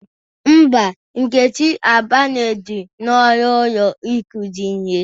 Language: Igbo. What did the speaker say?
Mba, Nkechi abanyeghi n'ọnụ ụlo ikuzi ihe.